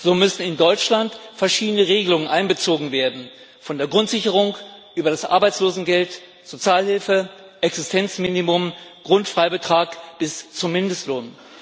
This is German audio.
So müssen in Deutschland verschiedene Regelungen einbezogen werden von der Grundsicherung über das Arbeitslosengeld, Sozialhilfe, Existenzminimum, Grundfreibetrag bis zum Mindestlohn.